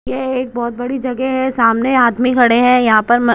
यह एक बहुत बड़ी जगह है सामने आदमी खड़े हैं यहां पर म--